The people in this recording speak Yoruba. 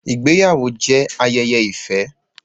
Ìgbáyàwó jẹ́ ayẹyẹ ìfẹ́.